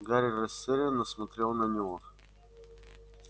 гарри растерянно смотрел на него